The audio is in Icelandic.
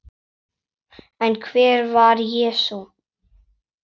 En hver var Jesús?